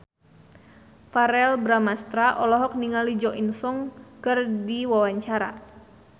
Verrell Bramastra olohok ningali Jo In Sung keur diwawancara